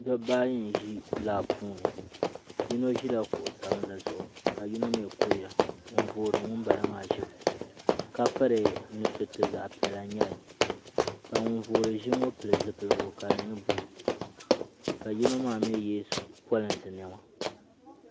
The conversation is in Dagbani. Dabba ayi n ʒi lab puuni yino ʒila kuɣu sabinli zuɣu kuriya n voori ŋunbala maa ʒim ka piri nu suroti zaɣ'piɛlli n nyɛli ka ŋun voori ʒim ŋɔ pili zipilgu ka di nyɛ blue ka yino mii yɛ polinsi niɛma